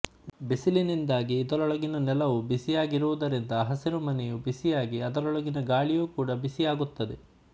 ಬಿಸಿಲಿನಿಂದಾಗಿ ಇದರೊಳಗಿನ ನೆಲವು ಬಿಸಿಯಾಗುವುದರಿಂದ ಹಸಿರುಮನೆಯು ಬಿಸಿಯಾಗಿ ಅದರೊಳಗಿನ ಗಾಳಿಯೂ ಕೂಡ ಬಿಸಿಯಾಗುತ್ತದೆ